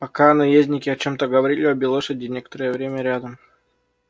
пока наездники о чём-то говорили обе лошади некоторое время рядом